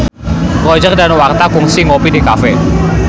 Roger Danuarta kungsi ngopi di cafe